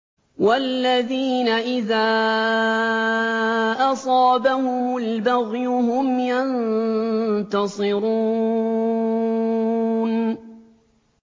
وَالَّذِينَ إِذَا أَصَابَهُمُ الْبَغْيُ هُمْ يَنتَصِرُونَ